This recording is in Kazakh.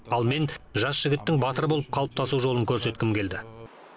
ал мен жас жігіттің батыр болып қалыптасу жолын көрсеткім келді